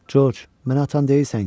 Corc, məni atan deyilsən ki?